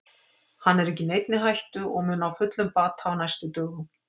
Hann er ekki í neinni hættu og mun ná fullum bata á næstu dögum.